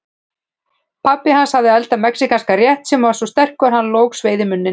Pabbi hans hafði eldað mexíkanskan rétt sem var svo sterkur að hann logsveið í munninn.